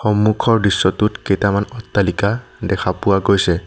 সন্মুখৰ দৃশ্যটোত কেইটামান অট্টালিকা দেখা পোৱা গৈছে।